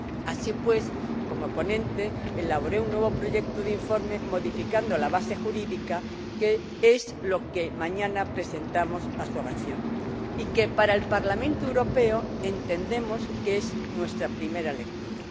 Así pues, como ponente, elaboré un nuevo proyecto de informe, modificando la base jurídica, que es lo que mañana presentamos a su aprobación y que, para el Parlamento Europeo, entendemos que es nuestra primera lectura.